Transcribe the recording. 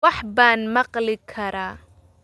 Wax baan maqli karaa